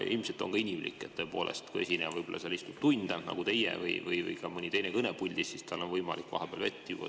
Ilmselt on inimlik, et tõepoolest, kui keegi seal istub tunde nagu teie või mõni teine on kaua kõnepuldis, siis on tal võimalik vahepeal vett juua.